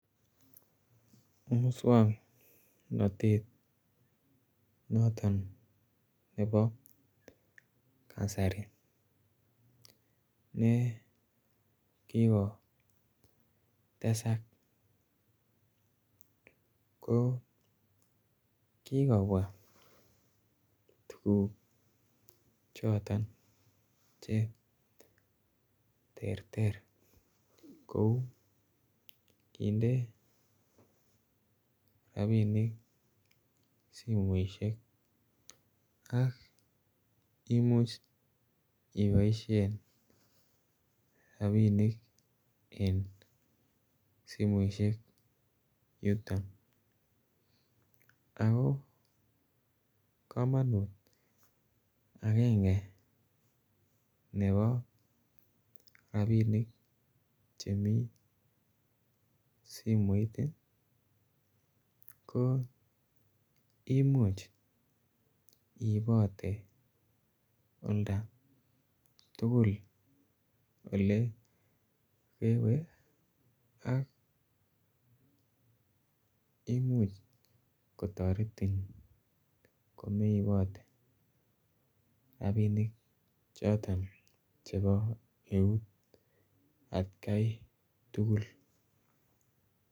Muswoknotet noton ne bo kasari nee kikotesak koo kikobwa tuguk choton cheterter kou kinde rapinik simoisiek ak imuch iboisien rapinik en simoisiek yuton akoo kamonut agenge ne bo rapinik chemii simoit koo imuch iibote olta tugul ole kewee ak imuch kotoretin komeibote rapinik choton chebo eut atkai tugul.